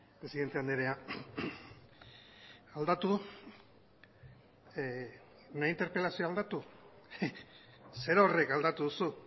presidente andrea aldatu nire interpelazioa aldatu zerorrek aldatu duzu